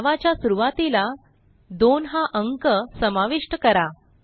नावाच्या सुरूवातीला 2 हा अंक समाविष्ट करा